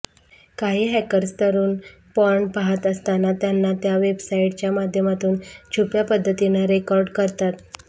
काही हॅकर्स तरुण पॉर्न पाहात असताना त्यांना त्या वेबसाइटच्या माध्यमातून छुप्या पद्धतीनं रेकॉर्ड करतात